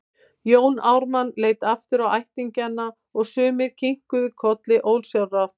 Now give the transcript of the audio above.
Jón Ármann leit aftur á ættingjana og sumir kinkuðu kolli ósjálfrátt.